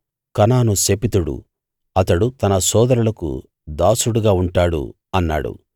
కనాను శపితుడు అతడు తన సోదరులకు దాసుడుగా ఉంటాడు అన్నాడు